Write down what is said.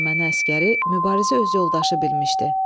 Erməni əsgəri Mübarizi öz yoldaşı bilmişdi.